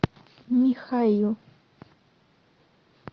михаил